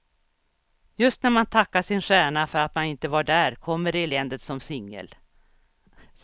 Just när man tackar sin stjärna för att man inte var där kommer eländet som singel.